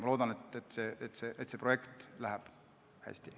Ma loodan, et see projekt läheb hästi.